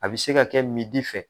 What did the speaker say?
A bɛ se ka kɛ fɛ